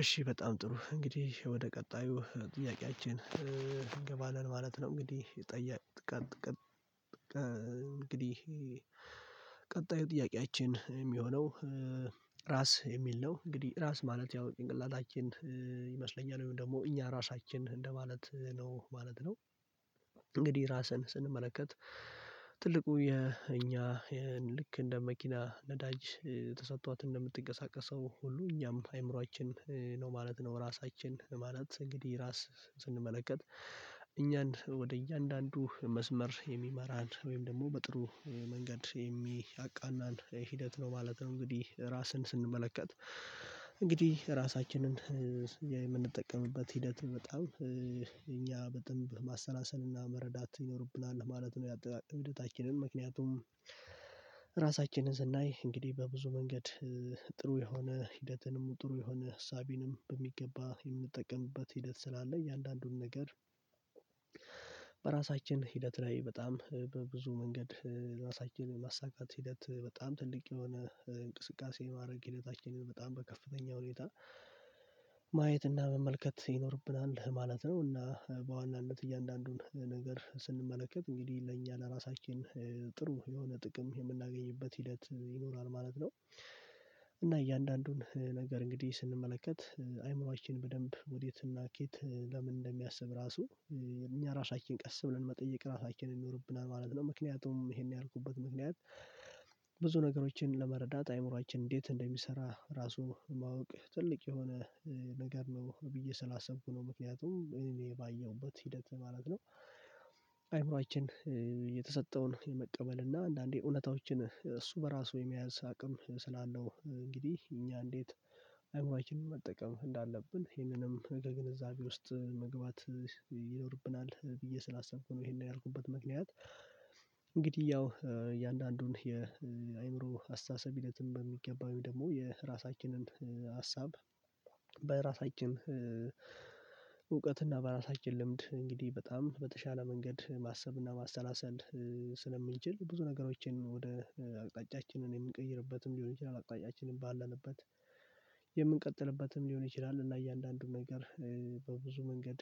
እሺ በጣም ጥሩ እንግዲህ ወደ ቀጣዩ ጥያቄያችን እንገባለን ማለት ነው። እንግዲህ ጠየቅ እንግዲህ ቀጣዩ ጥያቄያችን የሚሆነው። ራስ የሚል ነው እንግዲህ ራስ ማለት ያው ጭንቅላታችን ይመስለኛል ወይም ደግሞ እኛ ራሳችን እንደማለት ነው ማለት ነው። እንግዲህ ራስን ስንመለከት ትልቁ የእኛ ይሄን ልክ እንደ መኪና ነዳጅ ተሰጥቷት እንደምትንቀሳቀሰው ሁሉ እኛም አይምሮአችን ነው ማለት ነው ራሳችን ማለት እንግዲህ ራስ ስንመለከት። እኛን ወደ እያንዳንዱ መስመር የሚመራን ወይም ደግሞ በጥሩ መንገድ የሚያቃናን ሂደት ነው ማለት ነው። እንግዲህ ራስን ስንመለከት እንግዲህ ራሳችንን የምንጠቀምበት ሂደት በጣም እኛ በደንብ ማሰላሰልና መረዳት ይኖርብናል ማለት ነው። ያጠቃቀም ሂደታችንን ምክንያቱም ራሳችንን ስናይ እንግዲህ በብዙ መንገድ ጥሩ የሆነ ሂደትንም ጥሩ የሆነ ሀሳቤንም በሚገባ የምጠቀምበት ሂደት ስላለኝ እያንዳንዱን ነገር። በራሳችን ሂደት ላይ በጣም በብዙ መንገድ ራሳችንን የማሳካት ሂደት በጣም ትልቅ የሆነ እንቅስቃሴ ማድረግ ሂደታችንን በጣም በከፍተኛ ሁኔታ ማየት እና መመልከት ይኖርብናል ማለት ነው። እና በዋናነት እያንዳንዱን ነገር ስንመለከት እንግዲህ ለእኛ ለራሳችን ጥሩ የሆነ ጥቅም የምናገኝበት ሂደት ይኖራል ማለት ነው። እና እያንዳንዱን ነገር እንግዲህ ስንመለከት አይምሮአችን በደንብ ወዴትና ከየት ለምን እንደሚያስብ ራሱ እኛ ራሳችን ቀስ ብለን መጠየቅ ራሳችንን ይኖርብናል ማለት ነው። ምክንያቱም ይሄን ያልኩበት ምክንያት ብዙ ነገሮችን ለመረዳት አይምሮአችን እንዴት እንደሚሰራ ራሱ ማወቅ ትልቅ የሆነ ነገር ነው ብዬ ስላሰብኩ ነው ምክንያቱም እኔባየሁበት ሂደት ማለት ነው። አይምሮአችን የተሰጠውን የመቀበል እና አንዳንዴ እውነታዎችን እሱ በራሱ የመያዝ አቅም ስላለው እንግዲህ እኛ እንዴት አይምሮአችንን መጠቀም እንዳለብን ይሄንንም ነገር ግንዛቤ ውስጥ መግባት ይኖርብናል ብዬ ስላሰብኩ ነው ይሄን ያርጉበት ምክንያት። እንግዲህ ያው እያንዳንዱን የአእምሮ አስተሳሰብ ሂደትም በሚገባ ወይም ደግሞ የራሳችንን ሀሳብ በራሳችን እውቀትና በራሳችን ልምድ እንግዲህ በጣም በተሻለ መንገድ ማሰብና ማሰላሰል ስለምንችል ብዙ ነገሮችን ወደ አቅጣጫችን እ የምንቀይርበትም ሊሆን ይችላል አቅጣጫችንን ባለንበት የምንቀጥልበትም ሊሆን ይችላል። እና እያንዳንዱ ነገር በብዙ መንገድ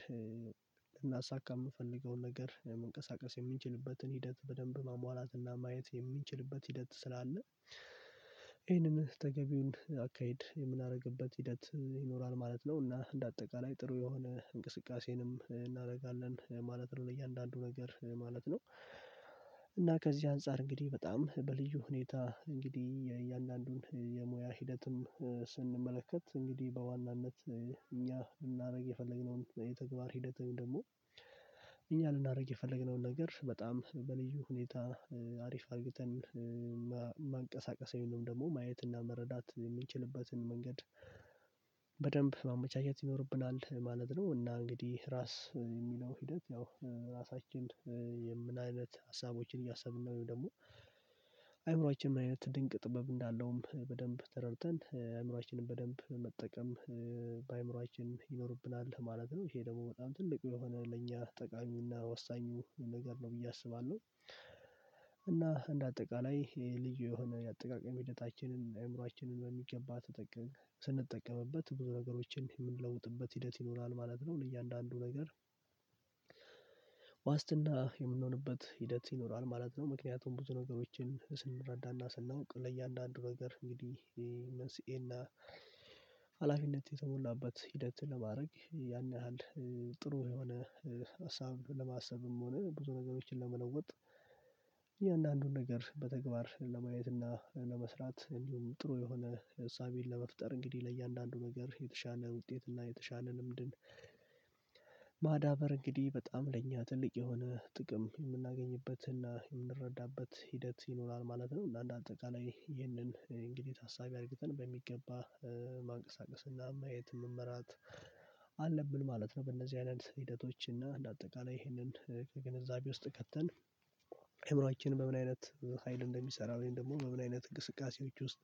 ልናሳካ የምፈልገውን ነገር መንቀሳቀስ የምንችልበትን ሂደት በደንብ ማሟላትና ማየት የምንችልበት ሂደት ስላለ ይሄንን ተገቢውን አካሄድ የምናደርግበት ሂደት ይኖራል ማለት ነው። እና እንደ አጠቃላይ ጥሩ የሆነ እንቅስቃሴንም እናደርጋለን ማለት ነው ለእያንዳንዱ ነገር ማለት ነው። እና ከዚህ አንፃር እንግዲህ በጣም በልዩ ሁኔታ እንግዲህ የእያንዳንዱን የሙያ ሂደትም ስንመለከት እንግዲህ በዋናነት እኛ ልናደርግ የፈለግነውን የተግባር ሂደት ወይም ደግሞ እኛ ልናደርግ የፈለግነውን ነገር በጣም በልዩ ሁኔታ አሪፍ አድርገን ማንቀሳቀስ ወይም ደግሞ ማየት እና መረዳት የምንችልበትን መንገድ በደንብ ማመቻቸት ይኖርብናል ማለት ነው። እና እንግዲህ ራስ የሚለው ሂደት ያው ራሳችን የምናይነት ሀሳቦችን እያሰብን ነው ወይም ደግሞ አይምሮአችን ምን አይነት ድንቅ ጥበብ እንዳለውም በደንብ ተረድተን አእምሮአችንን በደንብ መጠቀም ይኖርብናል ማለት ነው። ይሄ ደግሞ በጣም ትልቁ የሆነ ለኛ ጠቃሚውና ወሳኙ ነገር ነው ብዬ አስባለሁ። እና እንደ አጠቃላይ ይሄ ልዩ የሆነ የአጠቃቀም ሂደታችንን አእምሮአችንን በሚገባ ተጠቀም ስንጠቀምበት ብዙ ነገሮችን የምንለውጥበት ሂደት ይኖራል ማለት ነው ለእያንዳንዱ ነገር ዋስትና የምንሆንበት ሂደት ይኖራል ማለት ነው። ምክንያቱም ብዙ ነገሮችን ስንረዳና ስናውቅ ለእያንዳንዱ ነገር እንግዲህ መንስኤና ሀላፊነት የተሞላበት ሂደት ለማድረግ ያን ያህል ጥሩ የሆነ ሀሳብ ለማሰብም ሆነ ብዙ ነገሮችን ለመለወጥ የእያንዳንዱን ነገር በተግባር ለማየት እና ለመስራት እንዲሁም ጥሩ የሆነ እሳቤን ለመፍጠር እንግዲህ ለእያንዳንዱ ነገር የተሻለ ውጤት እና የተሻለ ልምድን እንግዲህ በጣም ለእኛ ትልቅ የሆነ ጥቅም የምናገኝበትና የምንረዳበት ሂደት ይኖራል ማለት ነው። እና አንደ አጠቃላይ ይህንን እንግዲህ ታሳቢ አድርገን በሚገባ ማንቀሳቀስና ማየት መመራት አለብን ማለት ነው። በእነዚህ አይነት ሂደቶች እና እንደ አጠቃላይ ይሄንን ከግንዛቤ ውስጥ ከተን እምሯችን በምን አይነት ሀይል እንደሚሰራ ወይም ደግሞ በምን አይነት እግስቃሴዎች ውስጥ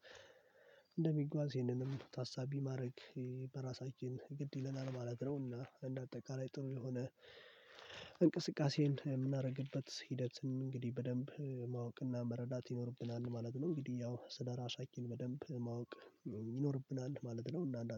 እንደሚጓዝ ይሄንንም ታሳቢ ማድረግ በራሳችን ግድ ይለናል ማለት ነውና እንደ አጠቃላይ ጥሩ የሆነ እንቅስቃሴን የምናደርግበት ሂደትን እንግዲህ በደንብ ማወቅና መረዳት ይኖርብናል ማለት ነው። እንግዲህ ያው ስለራሳችን በደንብ ማወቅ ይኖርብናል ማለት ነው። እና